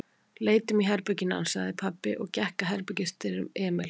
Leitum í herberginu hans, sagði pabbi og gekk að herbergisdyrum Emils.